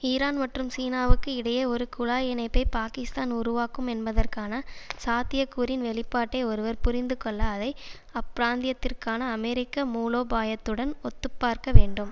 Iran மற்றும் சீனாவுக்கு இடையே ஒரு குழாய் இணைப்பை பாகிஸ்தான் உருவாக்கும் என்பதற்கான சாத்தியக்கூறின் வெளிப்பாட்டை ஒருவர் புரிந்து கொள்ள அதை அப்பிராந்தியத்திற்கான அமெரிக்க மூலோபாயத்துடன் ஒத்துப்பார்க்க வேண்டும்